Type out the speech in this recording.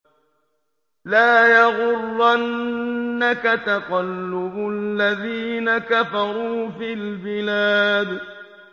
لَا يَغُرَّنَّكَ تَقَلُّبُ الَّذِينَ كَفَرُوا فِي الْبِلَادِ